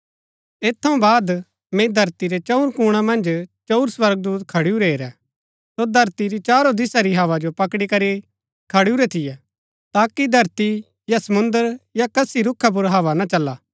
ऐत थऊँ बाद मैंई धरती रै चंऊर कूणा मन्ज चंऊर स्वर्गदूत खडुरै हेरै सो धरती री चारो दिशा री हव्वा जो पकड़ी करी खडुरै थियै ताकि धरती या समुंद्र या कसी रूखा पुर हवा ना चला